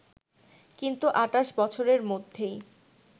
কিন্তু ২৮ বছরের মধ্যেই